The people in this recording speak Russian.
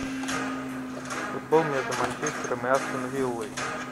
футбол между манчестером и астон виллой